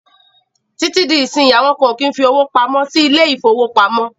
Títí dí ìsínyí, àwọn kan o kí ń fí owó pamọ́ sí ilé ìfọwọ́pamó.